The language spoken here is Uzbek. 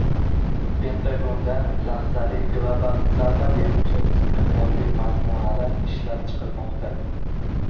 Pentagonda lahzali global zarba beruvchi istiqbolli majmualar ishlab chiqilmoqda.